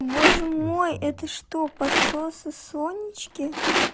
боже мой это что подсосы сонечке